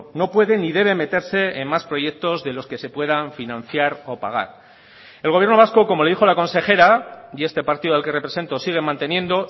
no puede ni debe meterse en más proyectos de los que se puedan financiar o pagar el gobierno vasco como le dijo la consejera y este partido al que represento sigue manteniendo